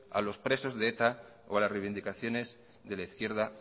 a los presos de eta o a las reivindicaciones de la izquierda